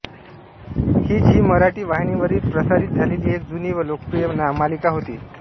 ही Zee Marathi वाहिनीवरील प्रसारित झालेली एक जुनी व लोकप्रिय मालिका होती